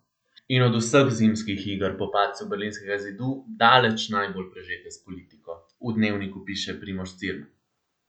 In od vseh zimskih iger po padcu berlinskega zidu daleč najbolj prežete s politiko, v Dnevniku piše Primož Cirman.